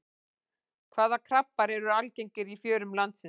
Hvaða krabbar eru algengir í fjörum landsins?